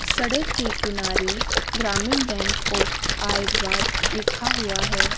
सड़क के किनारे ग्रामीण बैंक ऑफ आयरवाद लिखा हुआ है।